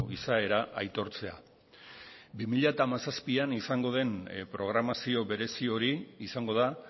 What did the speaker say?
izaera aitortzea bi mila hamazazpian izango den programazio berezi hori izango da